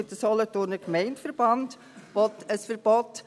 Der Solothurner Gemeindeverband will zum Beispiel ein Verbot.